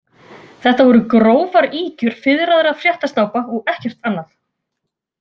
Þetta voru grófar ýkjur fiðraðra fréttasnápa og ekkert annað.